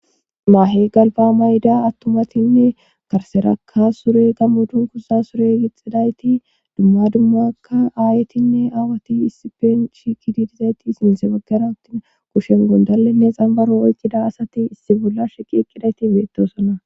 maahe galba mayida attumatinne karserakka sure gammudun kuza sure gixidayti dumma dummakka aayetinne aawati issipenshi kiididizayti sinse baggara wuttin kushen gondalenne xambaro oycida asati issi bolla sheqi eqqidayti beettosona